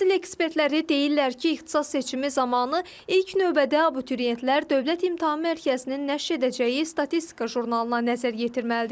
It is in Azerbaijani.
Təhsil ekspertləri deyirlər ki, ixtisas seçimi zamanı ilk növbədə abituriyentlər Dövlət İmtahan Mərkəzinin nəşr edəcəyi statistika jurnalına nəzər yetirməlidirlər.